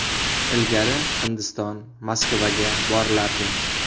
Ilgari Hindiston, Moskvaga borilardi.